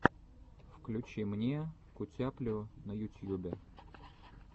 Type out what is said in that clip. включи мне кутяплю на ютьюбе